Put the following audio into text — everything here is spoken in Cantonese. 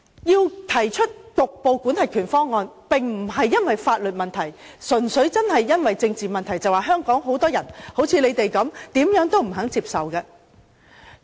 我提出局部管轄權方案，並非基於法律問題，而是純粹由於政治問題，因為香港有很多人，就好像反對派般怎樣也不願接受的。